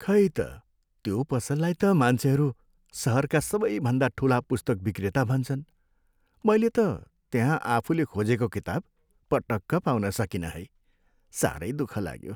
खै त, त्यो पसललाई त मान्छेहरू सहरका सबैभन्दा ठुला पुस्तक विक्रेता भन्छन्, मैले त त्यहाँ आफुले खोजेको किताब पटक्क पाउन सकिनँ है। साह्रै दुःख लाग्यो।